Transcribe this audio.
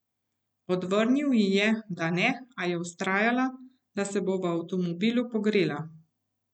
Odvrnil ji je, da ne, a je vztrajala, da se bo v avtomobilu pogrela.